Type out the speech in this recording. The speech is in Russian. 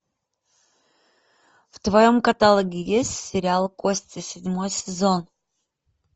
в твоем каталоге есть сериал кости седьмой сезон